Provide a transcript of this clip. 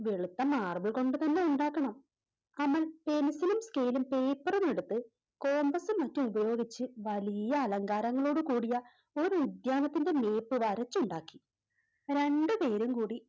വെളുത്ത Marble കൊണ്ടുതന്നെ ഉണ്ടാക്കണം അമൽ Pencil ലും Scale ലും Paper ഉം എടുത്ത് Compass ഉം മറ്റും ഉപയോഗിച്ച് വലിയ അലങ്കാരങ്ങളോട് കൂടിയ ഒരുദ്യാനത്തിൻറെ Map വരച്ചുണ്ടാക്കി രണ്ടു പേരും കൂടി